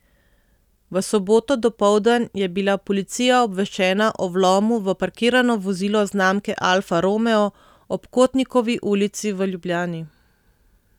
V soboto dopoldan je bila policija obveščena o vlomu v parkirano vozilo znamke Alfa romeo ob Kotnikovi ulici v Ljubljani.